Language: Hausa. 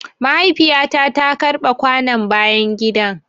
Mahaifiya ta ta karɓe kwanon bayan gida.